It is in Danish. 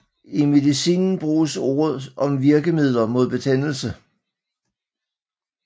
I medicinen bruges ordet om virkemidler mod betændelse